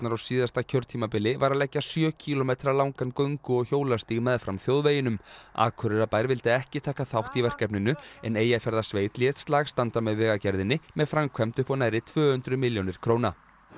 á síðasta kjörtímabili var að leggja sjö kílómetra langan göngu og hjólastíg meðfram þjóðveginum Akureyrarbær vildi ekki taka þátt í verkefninu en Eyjafjarðarsveit lét slag standa með Vegagerðinni með framkvæmd upp á nærri tvö hundruð milljónir króna